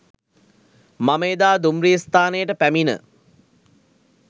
මම එදා දුම්රිය ස්ථානයට පැමිණ